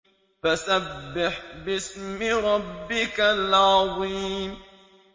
فَسَبِّحْ بِاسْمِ رَبِّكَ الْعَظِيمِ